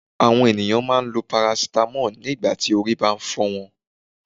Àwọn ènìyàn máa n lo 'paracetamol' nígbàtí orí bá n fọ́ wọn